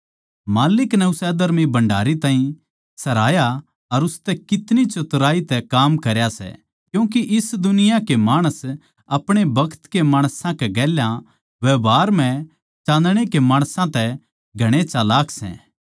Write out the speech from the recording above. माल्लिक नै उस अधर्मी भण्डारी ताहीं सराहया के उसनै कितनी चतुराई तै काम करया सै क्यूँके इस दुनिया के माणस अपणे बखत के माणसां के गेल्या व्यवहार म्ह चान्दणे के माणसां तै घणे चलाक सै